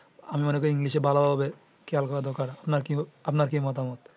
আমি মনে করি english এ ভালোভাবে খেয়াল করার দরকার আপনার কি মতামত?